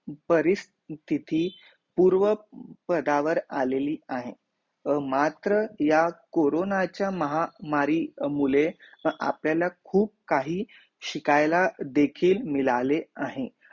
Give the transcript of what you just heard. परिस्थिती पूर्व पदावर आलीली आहे मात्र या कोरोना च्या महामारी मुले अपलाल्या खूब काही शिकायला देखील मिळाले आहे